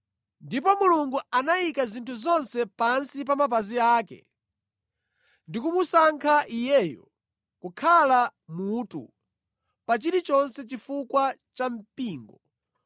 Ndipo Mulungu anayika zinthu zonse pansi pa mapazi ake ndi kumusankha Iyeyo kukhala mutu pa chilichonse chifukwa cha mpingo,